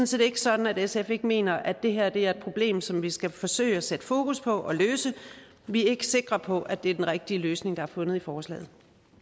set ikke sådan at sf ikke mener at det her er et problem som vi skal forsøge at sætte fokus på og løse vi er ikke sikre på at det er den rigtige løsning der er fundet i forslaget